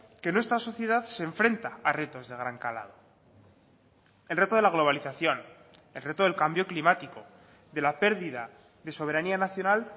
que nuestra sociedad se enfrenta a retos de gran calado el reto de la globalización el reto del cambio climático de la pérdida de soberanía nacional